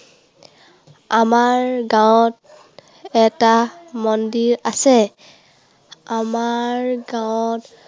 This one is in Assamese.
আমাৰ গাঁৱত এটা মন্দিৰ আছে। আমাৰ গাঁৱত